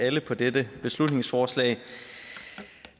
alle på dette beslutningsforslag